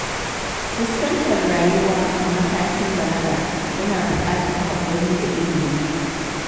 Fuskantar rayuwa a matakin balaga yana buƙatar haƙuri da ilimi.